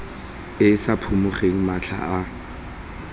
e sa phimogeng matlha a